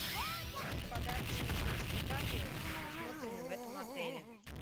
какие подарочные сертификаты предусмотрены в этом отеле